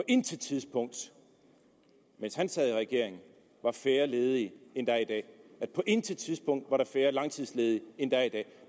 intet tidspunkt mens han sad i regering var færre ledige end der er i dag på intet tidspunkt var der færre langtidsledige end der er i dag